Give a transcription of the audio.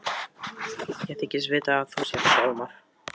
Ég þykist vita að þú sért Hjálmar.